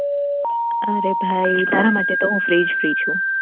અરે ભઈ તારા માટે તો હું free જ free છું